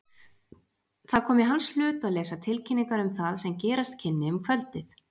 Það kom í hans hlut að lesa tilkynningar um það sem gerast kynni um kvöldið.